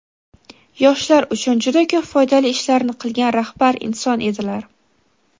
yoshlar uchun juda ko‘p foydali ishlarni qilgan rahbar inson edilar.